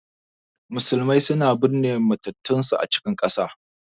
Musulmai suna binne mamatansu a cikin ƙasa.